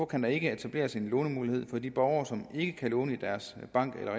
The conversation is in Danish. kan der ikke etableres en lånemulighed for de borgere som ikke kan låne i deres bank eller